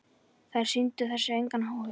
Þær sýndu þessu engan áhuga.